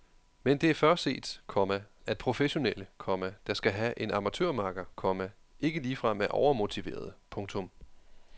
Men det er før set, komma at professionelle, komma der skal have en amatørmakker, komma ikke ligefrem er overmotiverede. punktum